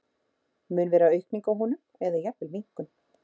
Mun vera aukning á honum eða jafnvel minnkun?